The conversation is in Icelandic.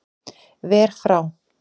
Ver frá